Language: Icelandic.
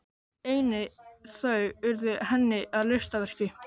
Einnig þau urðu henni að listaverki.